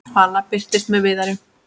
Vala birtist með Viðari.